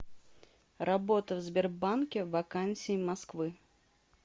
работа в сбербанке вакансии москвы